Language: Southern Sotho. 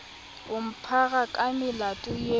o mphara ka melato eo